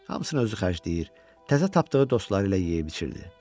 Hamısını özü xərcləyir, təzə tapdığı dostları ilə yeyib-içirdi.